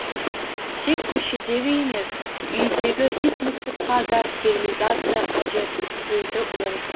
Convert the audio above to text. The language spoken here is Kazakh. тек көшедегі емес үйдегі ит мысыққа да стерилизация қажет дейді ол